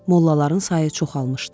Mollaların sayı çoxalmışdı.